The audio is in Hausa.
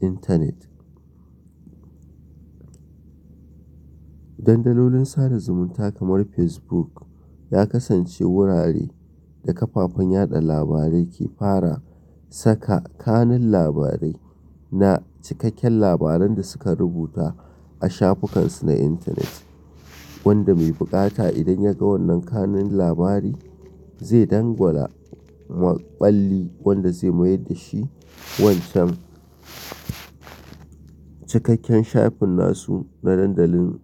intanet. Dandalolin sada zumunta kamar Fesbuk ya kasance wurare da kafafen yaɗa labarai ke fara saka kanun labarai na cikakken labaran da suka rubuta a shafukan su na intanet. Wanda mai buƙata idan ya ga wannan kanun labari zai dangwala maɓalli wanda zai mayar da shi wancan cikakken shafin nasu na dandalin.